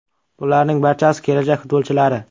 Bularning barchasi kelajak futbolchilari.